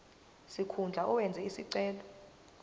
sikhundla owenze isicelo